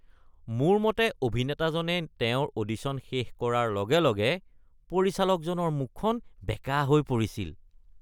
মোৰ মতে অভিনেতাজনে তেওঁৰ অডিশ্যন শেষ কৰাৰ লগে লগে পৰিচালকজনৰ মুখখন বেঁকা হৈ পৰিছিল।